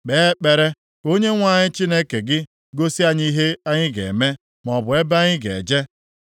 Kpee ekpere ka Onyenwe anyị Chineke gị gosi anyị ihe anyị ga-eme, maọbụ ebe anyị ga-eje.”